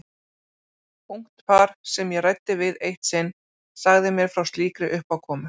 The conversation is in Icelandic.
Ungt par sem ég ræddi við eitt sinn sagði mér frá slíkri uppákomu.